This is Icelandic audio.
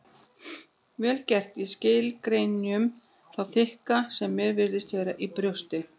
Vel get ég skilið gremju þá þykka sem mér virðist vera í brjósti